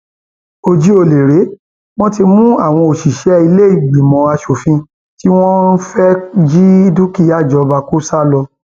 ojú ọlẹ rèé wọn ti mú àwọn òṣìṣẹ ìlẹẹjìmọ asòfin tí wọn fẹẹ jí dúkìá ìjọba kó sá lọ